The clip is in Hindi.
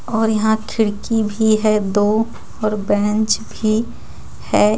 और यहां खिड़की भी है दो और बेंच भी हैं.